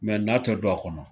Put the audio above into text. Mɛ na tɛ don a kɔnɔ,